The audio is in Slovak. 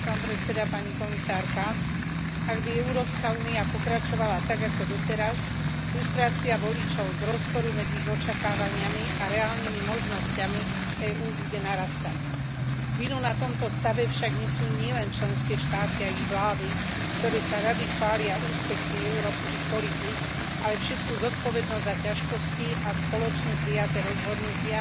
Vážený pán predseda, vážená pani komisárka, ak by Európska únia pokračovala tak ako doteraz, frustrácia voličov z rozporu medzi ich očakávaniami a reálnymi možnosťami EÚ bude narastať. Vinu na tomto stave však nesú nielen členské štáty a ich vlády, ktoré sa rady chvália úspechmi európskych politík, ale všetku zodpovednosť za ťažkosti a spoločne prijaté rozhodnutia